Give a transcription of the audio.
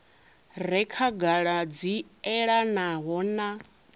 re khagala dzi elanaho na